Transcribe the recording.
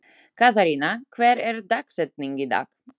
Katharina, hver er dagsetningin í dag?